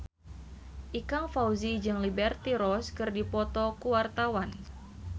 Ikang Fawzi jeung Liberty Ross keur dipoto ku wartawan